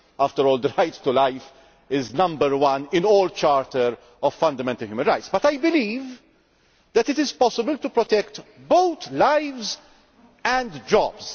After all, the right to life is number one in all the charters of fundamental human rights. But I believe that it is possible to protect both lives and jobs.